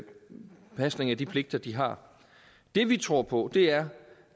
pasningen af de pligter de har det vi tror på er